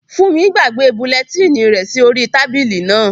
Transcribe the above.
Fúnmi gbàgbé bulẹtínì rẹ̀ sí orí tábìlì náà